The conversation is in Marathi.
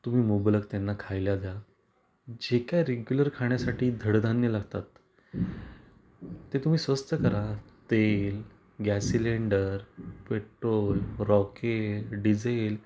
तुम्ही मुबलक त्यांना खायला द्या जे काही रेग्युलर खाण्यासाठी धड धान्य लागतात ते तुम्ही स्वस्त करा तेल गॅस सिलिंडर, पेट्रोल, रॉकेल, डिझेल.